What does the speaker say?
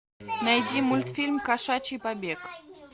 найди мультфильм кошачий побег